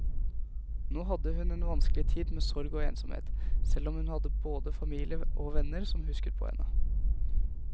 Nå hadde hun en vanskelig tid med sorg og ensomhet, selv om hun hadde både familie og venner som husket på henne.